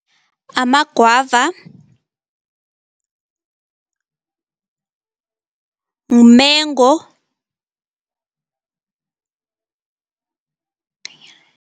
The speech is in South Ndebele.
Amagwava, umengo